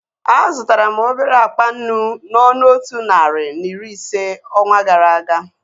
A zụtara m obere akpa nnu n'ọnụ otu narị na iri ise onwa gara aga